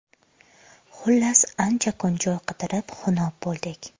Xullas, ancha kun joy qidirib, xunob bo‘ldik.